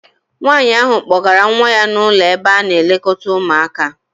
Nwaanyi ahụ kpọgara nwa ya n'ụlọ ebe a na-elekọta ụmụaka.